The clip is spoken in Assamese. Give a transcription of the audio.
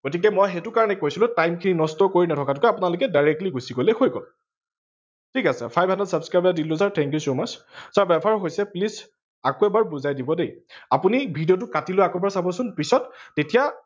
গতিকে মই সেইটো কাৰনে কৈছিলো time খিনি নষ্ট কৰি নথকাতকৈ আপোনালোকে directly গুচি গলে হৈ গল ঠিক আছে five hundred subscriber thank you so much আকৌ এবাৰ বুজাই দিব দে। আপোনি ভিডিঅটো কাতি লৈ আকৌ এবাৰ চাব চোন পিছত তেতিয়া